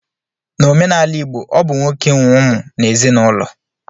N'omenala igbo, ọ bụ nwoke nwe ụmụ n'ezinaụlọ